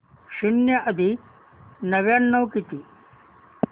शून्य अधिक नव्याण्णव किती